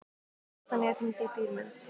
Betanía, hringdu í Dýrmund.